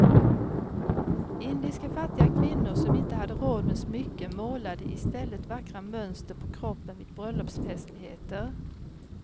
Indiska fattiga kvinnor som inte hade råd med smycken målade i stället vackra mönster på kroppen vid bröllopsfestligheter.